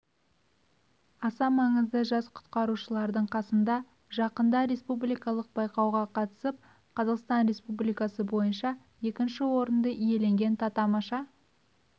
аса маңыздысы жас құтқарушылардың қасында жақында республикалық байқауға қатысып қазақстан республикасы бойынша екінші орынды иеленген татамаша